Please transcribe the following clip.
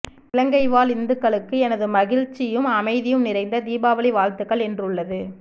இலங்கை வாழ் இந்துக்களுக்கு எனது மகிழ்ச்சியும் அமைதியும் நிறைந்த தீபாவளி வாழ்த்துக்கள் என்றுள்ளது